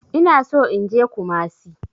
Ina so in je kumasi.